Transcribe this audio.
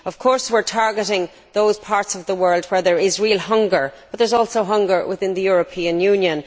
Of course we are targeting those parts of the world where there is real hunger, but there is also hunger within the European Union.